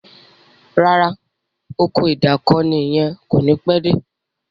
ràrá Ọkọ̀ ìdákoní yén o ní pé dé.